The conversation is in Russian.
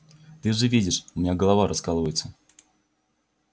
ты же видишь у меня голова раскалывается